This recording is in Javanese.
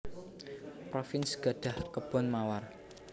Provins gadhah kebon mawar